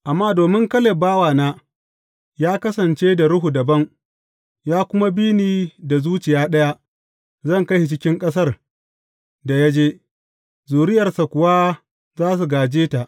Amma domin Kaleb bawana ya kasance da ruhu dabam, ya kuma bi ni da zuciya ɗaya, zan kai shi cikin ƙasar da ya je, zuriyarsa kuwa za su gāje ta.